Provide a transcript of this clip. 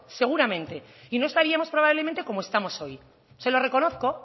seguramente y no estaríamos probablemente como estamos hoy se lo reconozco